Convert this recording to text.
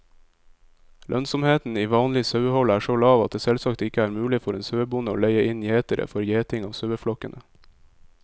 Lønnsomheten i vanlig sauehold er så lav at det selvsagt ikke er mulig for en sauebonde å leie inn gjetere for gjeting av saueflokkene.